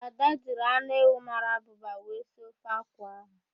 Ada jiri anụ ewu mara abụba wee sie ofe akwụ ahụ.